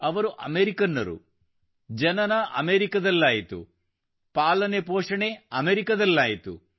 ಅವರು ಅಮೇರಿಕನ್ನರು ಜನನ ಅಮೇರಿಕದಲ್ಲಾಯಿತು ಪಾಲನೆ ಪೋಷಣೆ ಅಮೇರಿಕದಲ್ಲಾಯಿತು